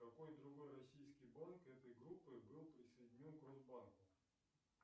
какой другой российский банк этой группы был присоединен к росбанку